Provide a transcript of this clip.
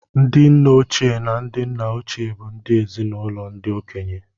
Ndị nne ochie na ndị nna ochie bụ ndị ezi-na-ụlọ ndị okenye